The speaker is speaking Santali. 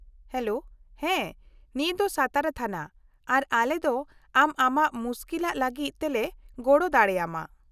-ᱦᱮᱞᱳ, ᱦᱮᱸ, ᱱᱤᱭᱟᱹ ᱫᱚ ᱥᱟᱛᱟᱨᱟ ᱛᱷᱟᱱᱟ ᱟᱨ ᱟᱞᱮ ᱫᱚ ᱟᱢ ᱟᱢᱟᱜ ᱢᱩᱥᱠᱤᱞᱟᱜ ᱞᱟᱹᱜᱤᱫ ᱛᱮᱞᱮ ᱜᱚᱲᱚ ᱫᱟᱲᱮᱭᱟᱢᱟ ᱾